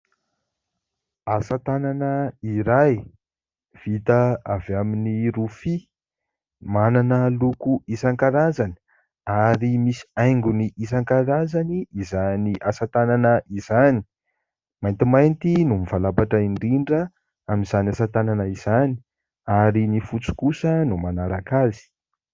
Asa tanana iray vita avy amin'ny rofia manana loko isan-karazany ary misy haingony isan-karazany izany asa tanana izany. Maintimainty no mivalapatra indrindra amin'izany asa tanana izany ary ny fotsy kosa no manaraka azy.